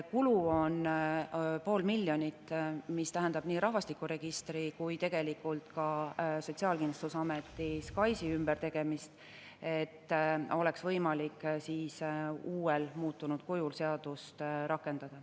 Kulu on pool miljonit, mis tähendab nii rahvastikuregistri kui ka Sotsiaalkindlustusameti SKAIS-i ümbertegemist, et oleks võimalik muutunud kujul seadust rakendada.